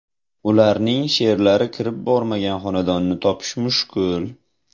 Ularning she’rlari kirib bormagan xonadonni topish mushkul.